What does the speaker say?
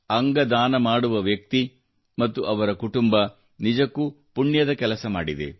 ಅಂಗ ದಾನ ಮಾಡುವ ವ್ಯಕ್ತಿ ಮತ್ತು ಅವರ ಕುಟುಂಬ ನಿಜಕ್ಕೂ ಪುಣ್ಯದ ಕೆಲಸ ಮಾಡಿದೆ